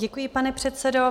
Děkuji, pane předsedo.